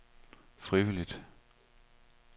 frivilligt